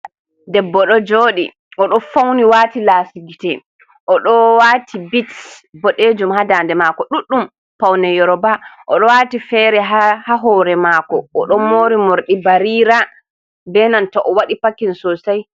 Debbo ɗo jooɗi, o ɗon fawni waati laasi gite, o ɗo waati bit boɗeejum haa daande maako ɗuɗɗum, pawne yorooba, o ɗo waati feere haa hoore maako. O ɗon moori moorɗi bariira be nanta o waɗi pakin soosay.